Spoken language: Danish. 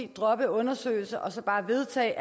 droppe undersøgelsen og så bare vedtage